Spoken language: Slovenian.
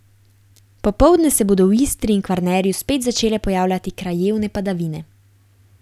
Popoldne se bodo v Istri in Kvarnerju spet začele pojavljati krajevne padavine.